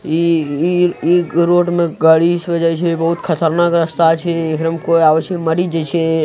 ये ये रोड में गाड़ी जय छे बहुत खतरनाक रास्ता छे कोई आव्से मली जसे --